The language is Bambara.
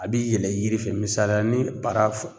A bi yɛlɛ yiri fɛ misala ni bara f